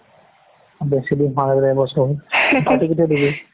বেছি দিন হোৱা নাই বোলে এবছৰ হ'ল party কেতিয়া দিবি